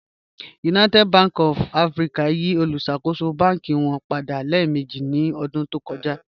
United Bank of Africa yí òlúṣakò̩ṣò̩ bánkì wọn padà lẹẹ̀mẹ̀jì ní ọdún tó kọ̀jà.